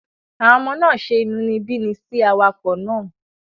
Àwọn ọmọ náà ṣe inúnibíni sí awakọ̀ náà